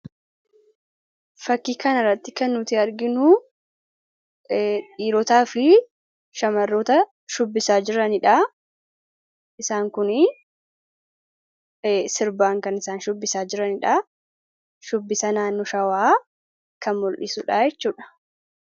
Fakii kana irratti kan arginu dhiirotaa fi shamarroota shubbisaa jiranidha. Isaanis sirbaan kan shubbisaa jiranidha. Shubbisa naannoo Shawaa kan mul'dhisudha.